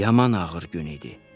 Yaman ağır gün idi.